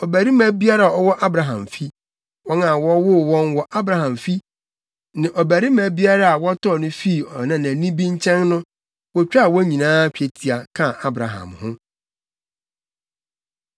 Ɔbarima biara a ɔwɔ Abraham fi, wɔn a wɔwoo wɔn wɔ Abraham fi ne ɔbarima biara a wɔtɔɔ no fii ɔnanani bi nkyɛn no, wotwitwaa wɔn nyinaa twetia, kaa Abraham ho.